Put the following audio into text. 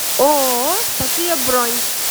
ооо софия бронь